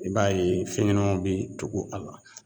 I b'a ye fɛnɲɛnɛmanw bi tugu a la